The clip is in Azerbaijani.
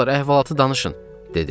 Nə olar əhvalatı danışın, dedim.